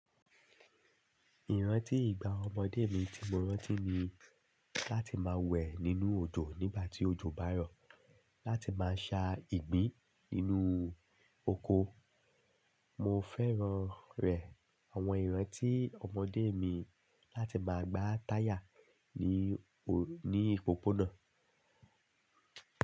Ìrántí ìgbà ọmọdé mi tí mo rántí ni láti máa wẹ̀ nínú òjò nígbà tí òjò bá yọ̀, láti máa sa ìgbín inú oko. Mo fẹ́ràn rẹ̀ àwọn ìrántí ọmọdé mi láti máa gbá táyà ní ò ní òpópónà.